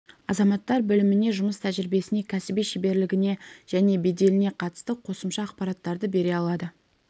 азаматтар біліміне жұмыс тәжірибесіне кәсіби шеберлігіне және беделіне қатысты қосымша ақпараттарды бере алады